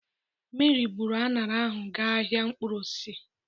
Mary bụru aṅara ahụ ga ahịa mkpụrụosisi.